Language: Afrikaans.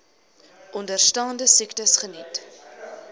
onderstaande siektes geniet